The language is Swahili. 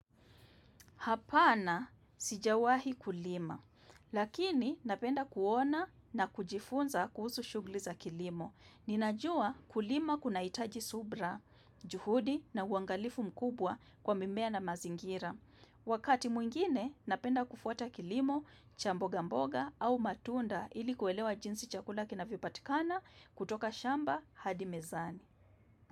Hapana sijawahi kulima, lakini napenda kuona na kujifunza kuhusu shugli za kilimo. Ninajua kulima kuna itaji subra, juhudi na uwangalifu mkubwa kwa mimea na mazingira. Wakati mwingine napenda kufuata kilimo, cha mboga mboga au matunda ilikuelewa jinsi chakula ki navyopatikana kutoka shamba hadi mezani.